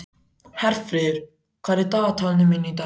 Herfríður, hvað er í dagatalinu mínu í dag?